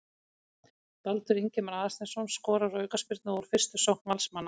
Baldur Ingimar Aðalsteinsson skorar úr aukaspyrnu og úr fyrstu sókn Valsmanna.